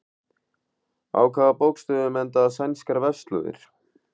Á hvaða bókstöfum enda sænskar vefslóðir?